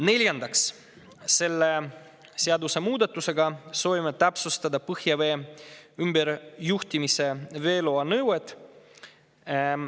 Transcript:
Neljandaks, selle seadusemuudatusega soovime täpsustada põhjavee ümberjuhtimise veeloa nõuet.